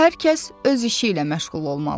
Hər kəs öz işi ilə məşğul olmalıdır.